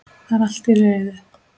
Það er allt til reiðu.